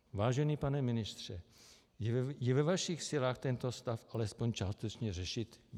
Vážený pane ministře, je ve vašich silách tento stav alespoň částečně řešit?